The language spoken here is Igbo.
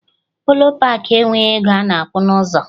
Polo paakị enweghị ego ana akwụ na ụzọ